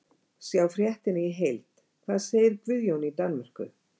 Sjá fréttina í heild: Hvað segir Guðjón í Danmörku?